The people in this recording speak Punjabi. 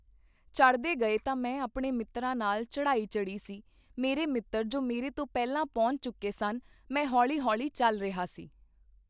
ਚੜ੍ਹਦੇੇ ਗਏ ਤਾਂ ਮੈਂ ਆਪਣੇ ਮਿੱਤਰਾਂ ਨਾਲ ਚੜ੍ਹਾਈ ਚੜ੍ਹੀ ਸੀ ਮੇਰੇ ਮਿੱਤਰ ਜੋ ਮੇਰੇ ਤੋਂ ਪਹਿਲਾਂ ਪਹੁੰਚ ਚੁੱਕੇ ਸਨ ਮੈਂ ਹੌਲ਼ੀ ਹੌਲ਼ੀ ਚੱਲ ਰਿਹਾ ਸੀ।